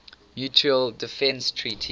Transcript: mutual defense treaty